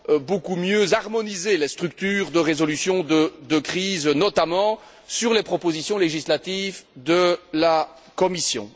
beaucoup mieux harmoniser les structures de résolution de crise, notamment sur les propositions législatives de la Commission.